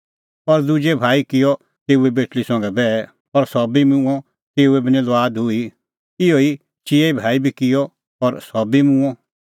और दुजै भाई किअ तेऊए बेटल़ी संघै बैह और सह बी मूंअ तेऊए बी निं लुआद हुई इहअ ई चिऐ भाई बी किअ और सह बी मूंअ